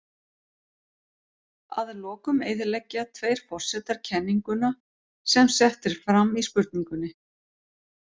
Að lokum eyðileggja tveir forsetar kenninguna sem sett er fram í spurningunni.